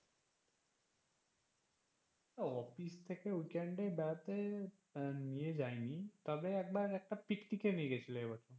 ওও অফিস থেকে weekend এ বেড়াতে নিয়ে যায়নি তবে একবার একটা পিকনিকে নিয়ে গেছিলে এবছর।